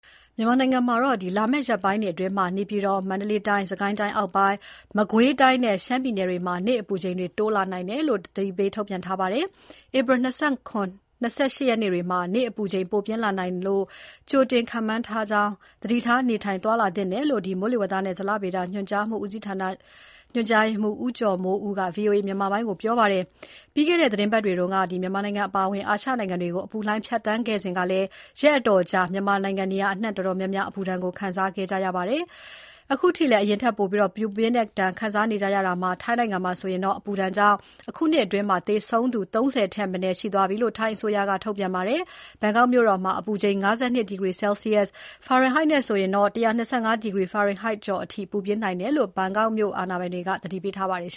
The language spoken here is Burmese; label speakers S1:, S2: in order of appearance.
S1: မြန်မာနိုင်ငံမှာ လာမယ့် ရက်ပိုင်းတွေအတွင်း နေပြည်တော်၊ မန္တလေးတိုင်း၊ စစ်ကိုင်းတိုင်းအောက်ပိုင်း၊ မကွေးတိုင်းနဲ့ ရှမ်းပြည်နယ်တွေမှာ နေ့အပူချိန်တွေ တိုးနိုင်တယ်လို့ ထုတ်ပြန်ထားပါတယ်။ ဧပြီ ၂၇၊ ၂၈ ရက်နေ့တွေမှာ နေ့အပူချိန် ပိုပြင်းလာနိုင်တယ်လို့ ကြိုတင်ခန့်မှန်းထားတာကြောင့် သတိထား နေထိုင် သွားလာသင့်တယ်လို့ မိုးလေဝသနှင့် ဇလဗေဒ ညွှန်ကြားမှုဦးစီးဌာန ညွှန်ကြားရေးမှုး ဦးကျော်မိုးဦးက VOA မြန်မာပိုင်းကို ပြောပါတယ်။ ပြီးခဲ့တဲ့ သီတင်းပတ်တွေတုန်းက မြန်မာနိုင်ငံအပါအဝင် အာရှနိုင်ငံတွေကို အပူလှိုင်းဖြတ်သန်းခဲ့စဉ်ကလည်း ရက်အတော်ကြာ မြန်မာနိုင်ငံနေရာ တော်တော်များများ အပူဒဏ်ကို ခံစားခဲ့ကြရပါတယ်။ အခုထိလည်း အရင်ထက်ပိုပြီး ပူပြင်းတဲ့ဒဏ်ကို ခံစားနေကြရတာမှာ ထိုင်းနိုင်ငံမှာဆိုရင် အပူဒဏ်ကြောင့် အခုနှစ်အတွင်း သေဆုံးသူ ၃၀ ထက်မနည်း ရှိသွားပြီလို့ ထိုင်းအစိုးရက ထုတ်ပြန်ပါတယ်။ ဘန်ကောက်မြို့တော်မှာ အပူချိန် ၅၂ ဒီဂရီဆဲလ်စီရပ် (၁၂၅ ဒီဂရီဖာရင်ဟိုက်) ကျော်အထိကို ပူပြင်းနိုင်တယ်လို့ ဘန်ကောက်မြို့တော် အာဏာ
S2: ပိုင်တွေက သတိပေးထားပါတယ်။